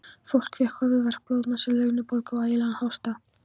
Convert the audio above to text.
Fólk fékk höfuðverk, blóðnasir, lungnabólgu og ægilegan hósta.